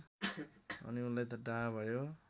अनि उनलाई डाहा भयो